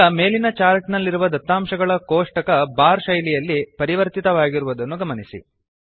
ಈಗ ಮೆಲೀನ ಚಾರ್ಟ್ ನಲ್ಲಿರುವ ದತ್ತಾಂಶಗಳ ಕೋಷ್ಟಕ ಬಾರ್ ಶೈಲಿಯಲ್ಲಿ ಪರಿವರ್ತಿತವಾಗಿರುವುದನ್ನು ಗಮನಿಸಿ